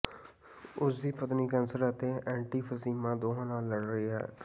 ਉਸ ਦੀ ਪਤਨੀ ਕੈਂਸਰ ਅਤੇ ਐਂਟੀਫਸੀਮਾ ਦੋਹਾਂ ਨਾਲ ਲੜ ਰਹੀ ਹੈ